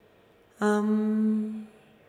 Am...